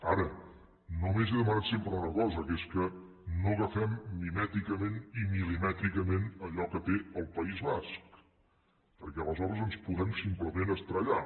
ara només he demanat sempre una cosa que és que no agafem mimèticament i mil·limètricament allò que té el país basc perquè aleshores ens podem simplement estavellar